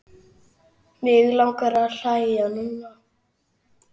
Mig langar að hlæja núna.